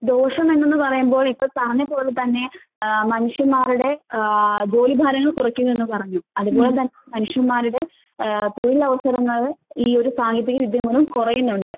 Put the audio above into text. ദോഷമെന്തെന്ന് പറയുമ്പോൾ ഇപ്പോൾ പറഞ്ഞപോലെ തന്നെ ആഹ് മനുഷ്യന്മാരുടെ ആഹ് ജോലിഭാരങ്ങൾ കുറയ്ക്കുമെന്ന് പറഞ്ഞു, അതുപോലെ തന്നെ മനുഷ്യന്മാരുടെ ആഹ് തൊഴിലവസരങ്ങൾ ഈയൊരു സാങ്കേതിക വിദ്യ മൂലം കൊറയുന്നൊണ്ട്.